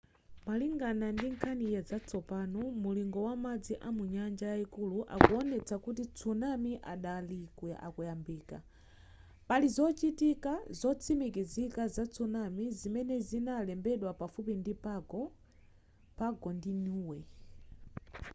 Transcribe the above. malingana ndi nkhani zatsopano mulingo wa madzi a munyanja yayikulu akuwonetsa kuti tsunami adali akuyambika pali zochitika zotsimikizika za tsunami zimene zinalembedwa pafupi ndi pago pago ndi niue